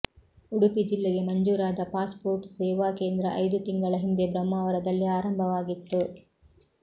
ಉಡುಪಿ ಜಿಲ್ಲೆಗೆ ಮಂಜೂರಾದ ಪಾಸ್ಪೋರ್ಟ್ ಸೇವಾ ಕೇಂದ್ರ ಐದು ತಿಂಗಳ ಹಿಂದೆ ಬ್ರಹ್ಮಾವರದಲ್ಲಿ ಆರಂಭವಾಗಿತ್ತು